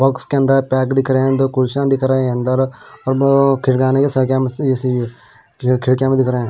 Box के अंदर bag दिख रहे हैं दो कुर्सियां दिख रहे हैं अंदर और बहो किरगाने साथ क्या ए_सी भी खिड़कीयां भी दिख रहे हैं।